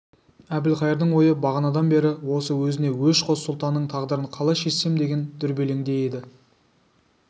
әбілқайырдың ойы бағанадан бері осы өзіне өш қос сұлтанның тағдырын қалай шешсем деген дүрбелеңде еді